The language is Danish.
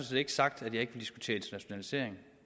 set ikke sagt at jeg ikke vil diskutere internationalisering